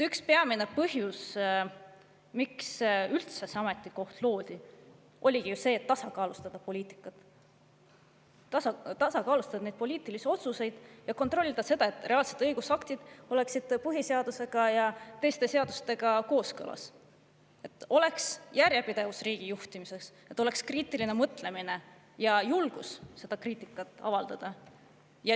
Üks peamine põhjus, miks üldse see ametikoht loodi, oligi ju see, et tasakaalustada poliitikat, poliitilisi otsuseid, ning kontrollida seda, et reaalsed õigusaktid oleksid põhiseadusega ja teiste seadustega kooskõlas, et oleks järjepidevus riigi juhtimises, et oleks kriitiline mõtlemine ja julgus seda kriitikat avaldada.